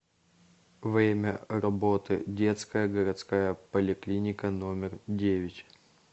время работы детская городская поликлиника номер девять